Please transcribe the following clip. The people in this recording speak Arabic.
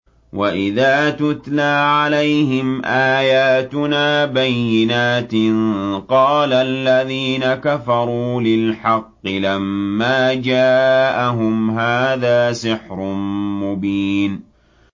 وَإِذَا تُتْلَىٰ عَلَيْهِمْ آيَاتُنَا بَيِّنَاتٍ قَالَ الَّذِينَ كَفَرُوا لِلْحَقِّ لَمَّا جَاءَهُمْ هَٰذَا سِحْرٌ مُّبِينٌ